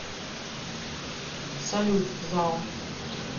салют зао